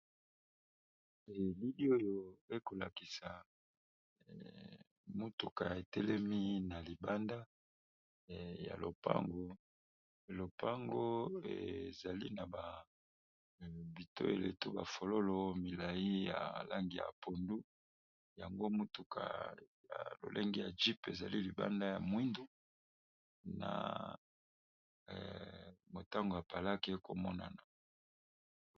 elili oyo ekolakisa motuka etelemi na libanda ya lopango lopango ezali na babito eletu bafololo milai ya langi ya pondu yango motuka ya lolenge ya jype ezali libanda ya mwindu na motango apalake ekomonana